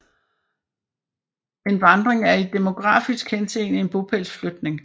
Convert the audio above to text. En vandring er i demografisk henseende en bopælsflytning